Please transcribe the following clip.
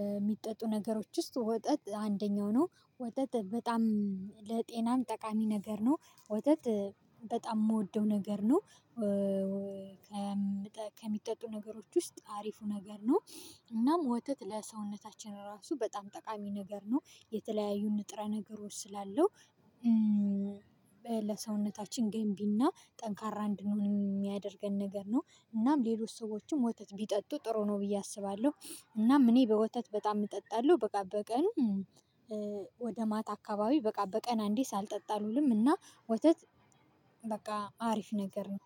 የሚጠጡ ነገሮች ውስጥ ወጠጥ አንደኛው ነው። ወጠጥ በጣም ለጤናም ጠቃሚ ነገር ነው። ወተት በጣም የምወደው ነገር ነው። ከሚጠጡ ነገሮች ውስጥ አሪፉ ነገር ነው። እናም ወተት ለሰውነታችን ራሱ በጣም ጠቃሚ ነገር ነው የተለያዩ ንጥረ ነገሮች ስላለው ለሰውነታችን ገንቢና ጠንካራ እንድንሆን የሚያደርገን ነገር ነው እናም ሌሎች ሰዎችም ወተት ቢጠጡ ጥሩ ነው ብዬ አስባለሁ። እናም እኔ በወተት በጣም እጠጣለሁ። በቃ በቀኑ ወደ ማታ አካባቢ በቃ በቀን አንዴ ሳልጠጣ ልውልም እና ወተት በቃ አሪፍ ነገር ነው።